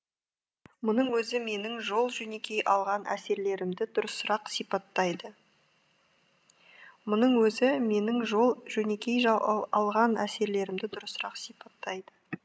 мұның өзі менің жол жөнекей алған әсерлерімді дұрысырақ сипаттайды мұның өзі менің жол жөнекей алған әсерлерімді дұрысырақ сипаттайды